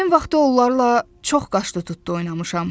Həmin vaxtı onlarla çox qaşqı-tutdu oynamışam.